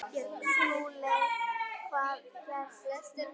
SKÚLI: Hvað gerðist næst?